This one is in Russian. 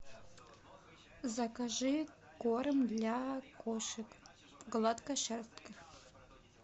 закажи корм для кошек гладкошерстных